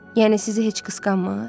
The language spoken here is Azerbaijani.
Yəni sizi heç qısqanmır?